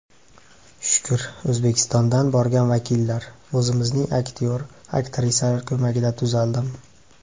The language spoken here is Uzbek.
Shukr, O‘zbekistondan borgan vakillar, o‘zimizning aktyor, aktrisalar ko‘magida tuzaldim.